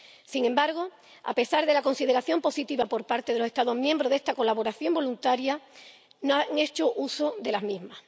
Sin embargo, a pesar de la consideración positiva por parte de los Estados miembros de esta colaboración voluntaria, no han hecho uso de la misma.